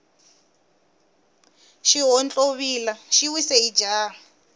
xihontlovila xi wise hi jaha